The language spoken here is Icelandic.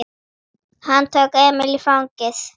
Hann tók Emil í fangið.